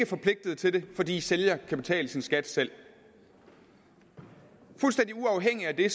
forpligtet til det fordi sælger kan betale sin skat selv fuldstændig uafhængig af det